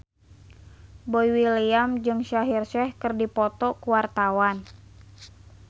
Boy William jeung Shaheer Sheikh keur dipoto ku wartawan